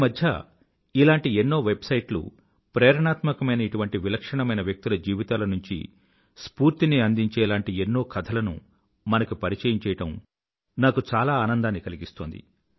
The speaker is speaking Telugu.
ఈమధ్య ఇలాంటి ఎన్నో వెబ్సైట్లు ప్రేరణాత్మకమైన ఇటువంటి విలక్షణమైన వ్యక్తుల జీవితాల నుండి స్ఫూర్తిని అందించేలాంటి ఎన్నో కథలను మనకి పరిచయం చేయడం నాకు చాలా ఆనందాన్ని కలిగిస్తోంది